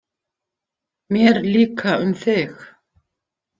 Mér líka um þig.